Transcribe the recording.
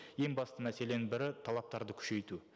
ең басты мәселенің бірі талаптарды күшейту